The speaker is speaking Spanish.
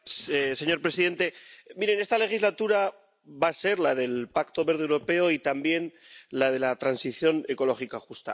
Señor presidente, esta legislatura va a ser la del Pacto Verde Europeo y también la de la transición ecológica justa.